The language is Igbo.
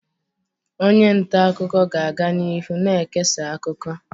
Onye nta akụkọ ga-aga n'ihu na-ekesa akụkọ.